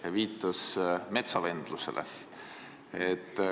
Ja ta viitas metsavendlusele.